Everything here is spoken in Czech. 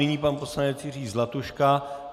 Nyní pan poslanec Jiří Zlatuška.